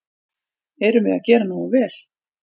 Erum við að gera nógu vel?